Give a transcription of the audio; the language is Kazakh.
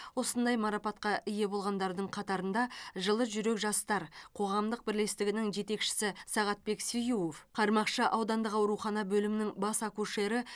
осындай марапатқа ие болғандардың қатарында жылы жүрек жастар қоғамдық бірлестігінің жетекшісі сағатбек сиюов қармақшы аудандық аурухана бөлімінің бас акушері